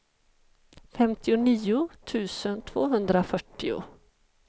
femtionio tusen tvåhundrafyrtio